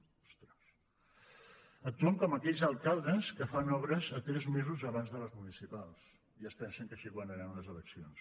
actuen com aquells alcaldes que fan obres tres mesos abans de les municipals i es pensen que així guanyaran les eleccions